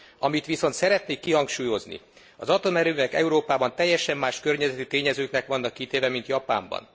Amit viszont szeretnék kihangsúlyozni az atomerőművek Európában teljesen más környezeti tényezőknek vannak kitéve, mint Japánban.